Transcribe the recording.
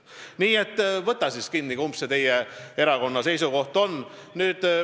" Nii et võta siis kinni, kumb see teie erakonna seisukoht on.